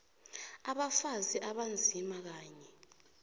abafazi abanzima kanye